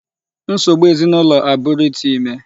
Nsogbu ezinụlọ a bụrụ ịtụ ime.